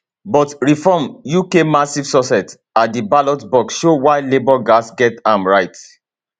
but reform uk massive success at di ballot box show why labour gatz get am right